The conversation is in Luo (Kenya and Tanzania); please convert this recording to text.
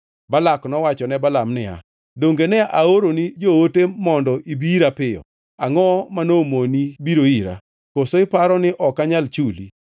Balak nowacho ne Balaam niya, “Donge ne aoroni joote mondo ibi ira piyo? Angʼo ma nomoni biro ira? Koso iparo ni ok anyal chuli?”